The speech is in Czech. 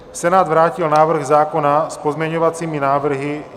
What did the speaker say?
Senát vrátil návrh zákona s pozměňovacími návrhy.